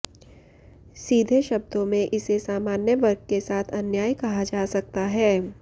सीधे शब्दों में इसे सामान्य वर्ग के साथ अन्याय कहा जा सकता है